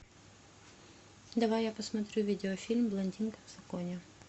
давай я посмотрю видеофильм блондинка в законе